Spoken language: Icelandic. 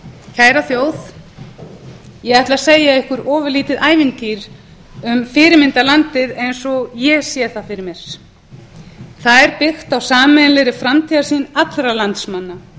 kæra þjóð ég ætla að segja ykkur ofurlítið ævintýri um fyrirmyndarlandið eins og ég sé það fyrir mér það er byggt á sameiginlegri framtíðarsýn allra landsmanna